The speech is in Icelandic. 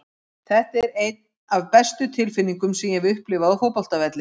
Þetta er ein af bestu tilfinningum sem ég hef upplifað á fótboltavelli.